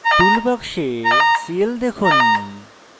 tool box cl দেখুন